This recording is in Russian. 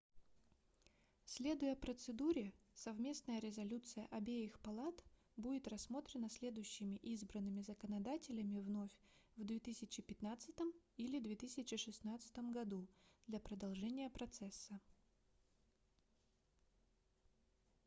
следуя процедуре совместная резолюция обеих палат будет рассмотрена следующими избранными законодателями вновь в 2015 или 2016 году для продолжения процесса